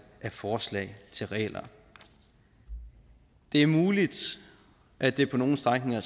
af forslag til regler det er muligt at det på nogle strækninger